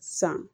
San